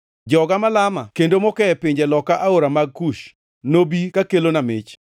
Joga malama kendo moke e pinje loka aore mag Kush, nobi kakelona mich.